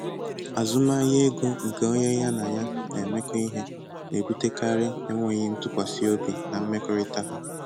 Azụmahịa ego nke onye ya na ya na-emekọ ihe na-ebutekarị enweghị ntụkwasị obi na mmekọrịta ha.